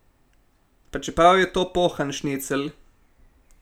Pa čeprav je to pohan šnicl.